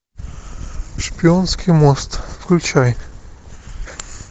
шпионский мост включай